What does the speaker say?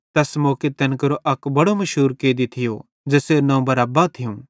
तैस मौके तैन केरो अक बड़ो मुशूर कैदी थियो ज़ेसेरू नवं बरअब्बा थियूं